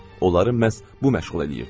Onları məhz bu məşğul eləyirdi.